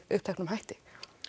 uppteknum hætti